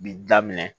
Bi daminɛ